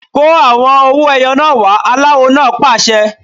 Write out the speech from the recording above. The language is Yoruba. Kó àwọn owó ẹyọ náà wá! Aláwo náà pàṣẹ.